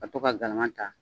Ka to ka galama ta